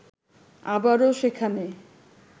আবারো সেখানে